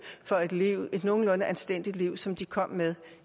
for at kunne leve et nogenlunde anstændigt liv som de kom med